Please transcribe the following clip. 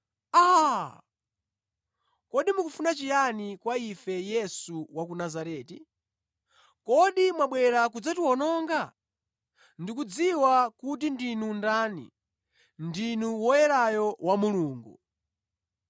“Aa! Kodi mukufuna chiyani kwa ife, Yesu wa ku Nazareti? Kodi mwabwera kudzatiwononga? Ndikudziwa kuti ndinu ndani, ndinu Woyerayo wa Mulungu!”